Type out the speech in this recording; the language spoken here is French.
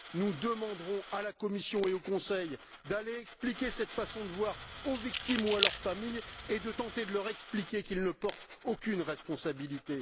Nous demanderons à la Commission et au Conseil d'aller expliquer cette façon de voir aux victimes et à leurs familles et de tenter de leur expliquer qu'ils ne portent aucune responsabilité.